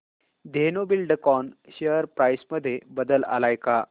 Dhenu Buildcon share price मध्ये बदल आलाय का